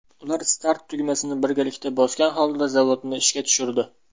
Ular start tugmasini birgalikda bosgan holda zavodni ishga tushirdi.